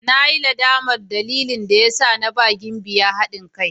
Na yi nadamar dalilin da ya sa na ba Gimbiya hadin kai.